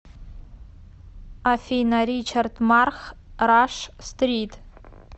афина ричард марх раш стрит